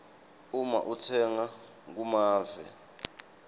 uma utsenga kumave